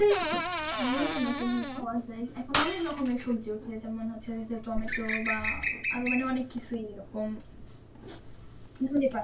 নতুন নতুন পাওয়া যাই এখন অনেক রকমের সবজি উঠছে যেমন হচ্ছে যে টমেটো বা আরো মানে অনেক কিছুই এরকম ধনেপাতা